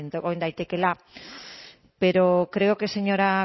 egin daitekeela pero creo que señora